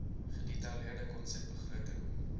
gedetailleerde konsep begroting